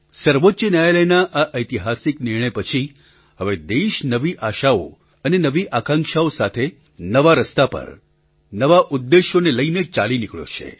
સર્વોચ્ચ ન્યાયાલયના આ ઐતિહાસિક નિર્ણય પછી હવે દેશ નવી આશાઓ અને નવી આકાંક્ષાઓ સાથે નવા રસ્તા પર નવા ઉદ્દેશ્યોને લઈને ચાલી નીકળ્યો છે